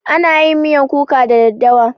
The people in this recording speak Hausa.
Ana yin miyan kuka da daddawa.